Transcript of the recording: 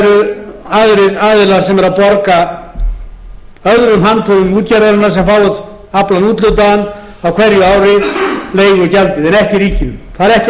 það eru aðrir aðilar sem eru að borga öðrum handhöfum útgerðarinnar sem fá aflann úthlutaðan á hverju ári leigugjaldið en ekki ríkinu það er ekki að renna til íslensku þjóðarinnar ef